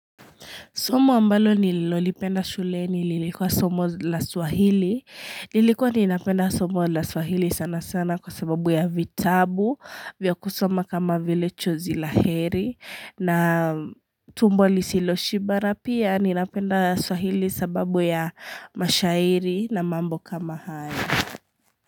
Somo ambalo nilolipenda shule nililikuwa somo la swahili. Nilikuwa ninapenda somo la swahili sana sana kwa sababu ya vitabu, vya kusoma kama vile chozi la heri na tumbo lisilo shiba na pia ninapenda swahili sababu ya mashairi na mambo kama haya.